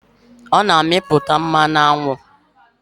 Ọ na-amịputa mmanụ aṅụ.